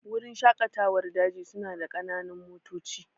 Wurin shaƙatawar daji su na da ƙananan motoci